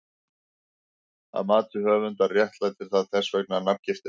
Að mati höfundar réttlætir það þess vegna nafngiftina.